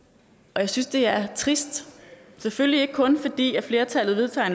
jeg synes det er trist selvfølgelig ikke kun fordi flertallet vedtager